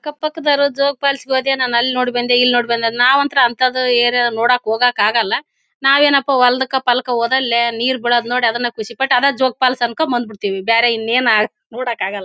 ಅಕ್ಕ ಪಕ್ಕದವರು ಜೋಗ ಫಾಲ್ಸ್ ಹೋದೆ ಅಲ್ಲಿ ನೋಡ್ ಬಂದೆ ಇಲ್ಲಿ ನೋಡ್ ಬಂದೆ ನಾವ್ ಅಂತ್ರ ಅಂತದ್ದು ಏರಿಯಾ ನೋಡಕ್ಕ್ ಹೋಗಕ್ಕ ಆಗಲ್ಲ ನಾವೇನಪ್ಪಾ ಹೋದಲ್ಲಿ ನೀರ್ ಬಿಡೋದ್ ನೋಡಿ ಅದನ್ನೇ ಖುಷಿಪಟ್ ಅದೇ ಜೋಗ ಅಂದಕೊಂಡಿ ಬಂದಬಿಡತ್ತಿವಿ ಬ್ಯಾರೆ ಇಂಯೆನ್ ನೋಡಕಾಗಲ್ಲಾ.